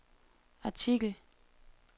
artikel